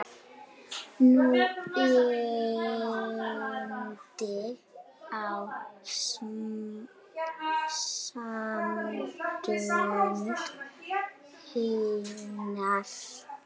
Nú reyndi á sambönd hennar.